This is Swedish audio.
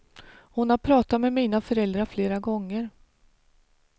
Hon har pratat med mina föräldrar flera gånger.